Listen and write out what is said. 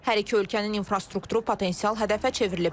Hər iki ölkənin infrastrukturu potensial hədəfə çevrilib.